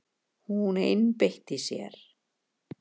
Hún einbeitti sér.